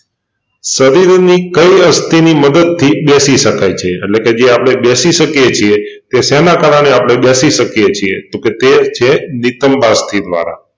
શરીરની કઈ અસ્થિની મદદથી બેસી શકાય છે એટલેકે જે આપણે બેસી સકીએ છીએ એ શેને કારણે આપણે બેસી શકીએ છીએ તે છે નિતંભાઅ સ્થી દ્વારા